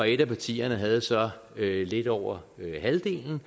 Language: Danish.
et af partierne havde så lidt over halvdelen